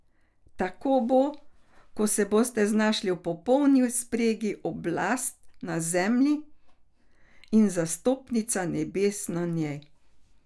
Tako bo, ko se bosta znašli v popolni spregi oblast na zemlji in zastopnica nebes na njej.